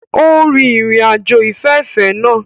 O rin irin-ajo ifẹfẹfẹ naa